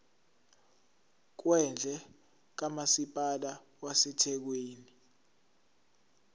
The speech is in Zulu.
kwendle kamasipala wasethekwini